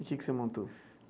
E o que que você montou?